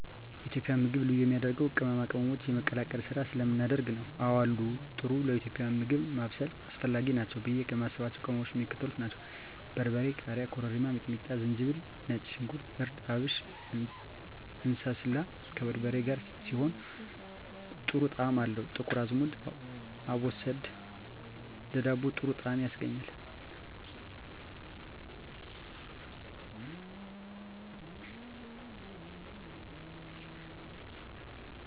የኢትዮጵያ ምግብ ልዩ የሚያደርገው ቅመማ ቅመሞችን የመቀላቀል ስራ ስለምናደርግ ነው። *አወ አሉ፦ ጥሩ ለኢትዮጵያዊ ምግብ ማብሰል አስፈላጊ ናቸው ብዬ የማስባቸው ቅመሞች የሚከተሉት ናቸው: * በርበሬ *ቃሪያ * ኮረሪማ * ሚጥሚጣ * ዝንጅብል * ነጭ ሽንኩርት * እርድ * አብሽ *እንስላል፦ ከበርበሬ ጋር ሲሆን ጥሩ ጣዕም አለው *ጥቁር አዝሙድ(አቦስዳ)ለዳቦ ጥሩ ጣዕም ያስገኛል።